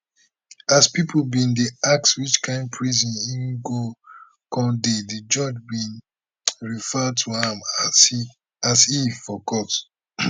as pipo bin dey ask which kain prison im go come dey di judge bin refer to am as he for court